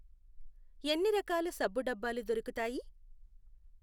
ఎన్ని రకాల సబ్బు దబ్బాలు దొరుకుతాయి?